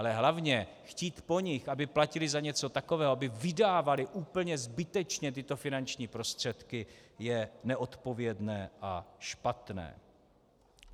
Ale hlavně, chtít po nich, aby platili za něco takového, aby vydávali úplně zbytečně tyto finanční prostředky, je neodpovědné a špatné.